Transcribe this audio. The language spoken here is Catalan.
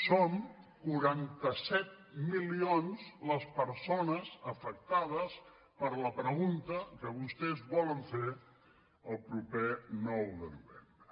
som quaranta set milions les persones afectades per la pregunta que vostès volen fer el proper nou de novembre